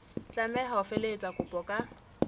tlameha ho felehetsa kopo ka